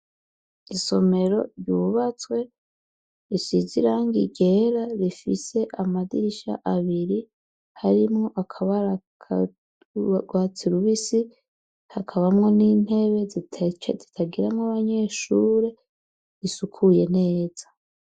Isomero ryubatswe, risize irangi ryera rifise amadirisha abiri harimwo akabara ku rwatsi rubisi, hakabamwo n'intebe zitagiramwo abanyeshure, risukuye neza.